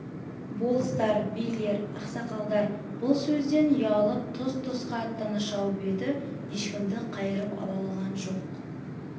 болыстар билер ақсақалдар бұл сөзден ұялып тұс-тұсқа аттана шауып еді ешкімді қайырып ала алған жоқ